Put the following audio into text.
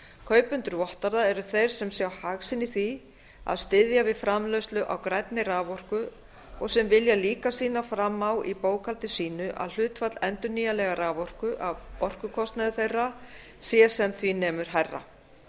kaupendur vottorða eru þeir sem sjá hag sinn í því að styðja við framleiðslu á grænni raforku og sem vilja líka sýna fram á í bókhaldi sínu að hlutfall endurnýjanlegrar raforku af orkukostnaði þeirra sé sem því nemur hærra